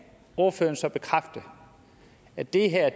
ordføreren så bekræfte at det her